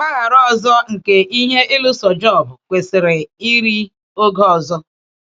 Mpaghara ọzọ nke ihe ịlụso Jọb kwesịrị iri oge ọzọ.